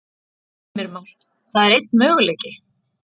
Heimir Már: Það er einn möguleiki?